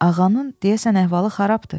ağanın deyəsən əhvalı xarabdır.